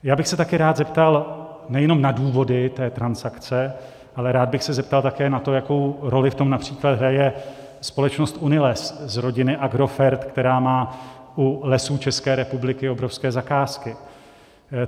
Já bych se taky rád zeptal nejenom na důvody té transakce, ale rád bych se zeptal také na to, jakou roli v tom například hraje společnost UNILES z rodiny Agrofert, která má u Lesů České republiky obrovské zakázky.